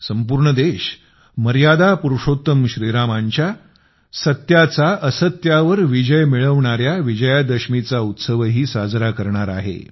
संपूर्ण देश मर्यादा पुरुषोत्तम श्रीरामांच्या सत्याचा असत्यावर विजय सांगणारा विजयादशमीचा उत्सवही साजरा करणार आहे